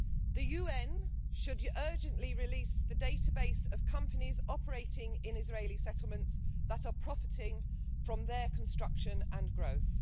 The UN should urgently release the database of companies operating in Israeli settlements that are profiting from their construction and growth.